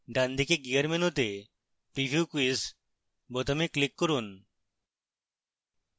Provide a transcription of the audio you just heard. ডানদিকে gear মেনুতে preview quiz বোতামে click করুন